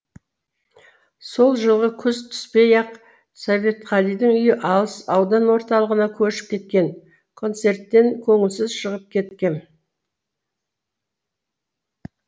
сол жылғы күз түпей ақ советқалидың үйі алыс аудан орталығына көшіп кеткен концерттен көңілсіз шығып кеткем